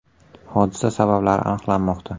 Hodisa sabablari aniqlanmoqda.